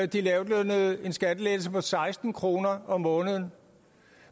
de lavtlønnede en skattelettelse på seksten kroner om måneden